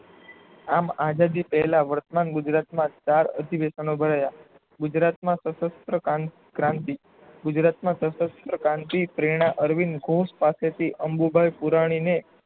આમ આઝાદી પહેલા વાર્તમાંન ગુજરાતમાં ચાર અધિવેશનો ભરાયા ગુજરાતમાં શસ્ત્ર ક્રાંતિ ગુજરાતમાં શસ્ત્ર ક્રાંતિ પેરણા અરવિંદ ઘોસ પાસેથી અંબુબાઈ પુરાણી ને